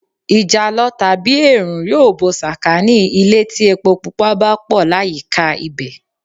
Ìjàlọ/ẹ̀ẹ̀rùn yóò bo sàkánì ilé tí epo pupa bá pọ̀ láyìíká ibẹ̀.